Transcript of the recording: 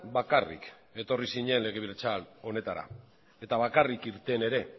bakarrik etorri zinen legebiltzar honetara eta bakarrik irten ere